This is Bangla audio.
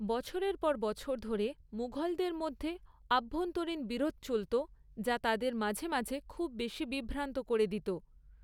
বছরের পর বছর ধরে, মুঘলদের মধ্যে অভ্যন্তরীণ বিরোধ চলত যা তাদের মাঝে মাঝে খুব বেশি বিভ্রান্ত করে দিত।